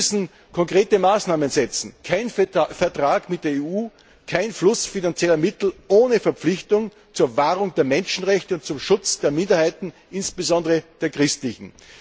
Wir müssen konkrete Maßnahmen ergreifen kein Vertrag mit der EU, kein Fluss finanzieller Mittel ohne Verpflichtung zur Wahrung der Menschenrechte und zum Schutz der Minderheiten, insbesondere der christlichen.